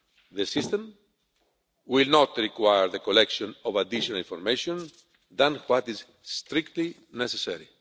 The system will not require the collection of additional information other than what is strictly necessary.